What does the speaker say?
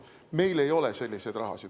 Meil ei ole sellist raha.